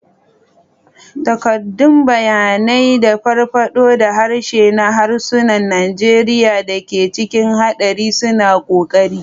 Takaddun bayanai da farfaɗo da harshe na harsunan Najeriya da ke cikin haɗari suna ƙoƙari.